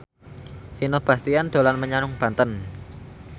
Vino Bastian dolan menyang Banten